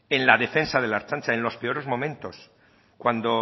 en la defensa de la ertzaintza en los peores momentos cuando